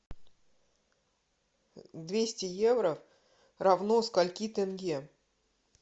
двести евро равно скольки тенге